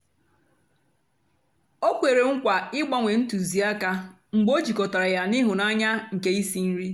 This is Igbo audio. ọ kwèrè nkwa ịgbánwè ntụzịàka mgbe ọ jịkọtàra ya na ịhụnanya nkè ísí nri.